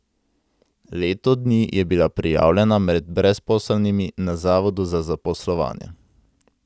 Leto dni je bila prijavljena med brezposelnimi na zavodu za zaposlovanje.